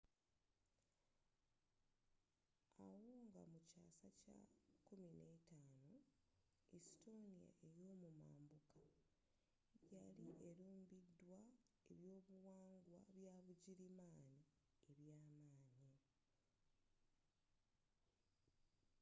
awo nga mukyaasa kya 15th estonia eyomumambuka yali elumbiddwa ebyobuwangwa byabugirimaani ebyamanyi